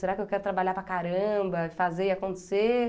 Será que eu quero trabalhar para caramba, e fazer acontecer?